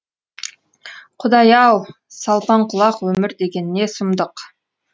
құдай ау салпаңқұлақ өмір деген не сұмдық